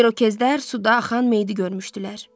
İrokezlər suda axan meyidə görmüşdülər.